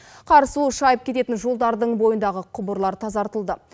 қар суы шайып кететін жолдардың бойындағы құбырлар тазартылды